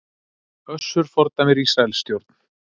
Össur fordæmir Ísraelsstjórn